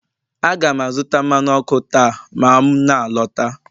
A ga m azụta mmanụ ọkụ taa ma m na-alọta